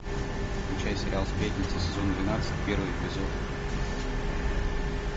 включай сериал сплетницы сезон двенадцать первый эпизод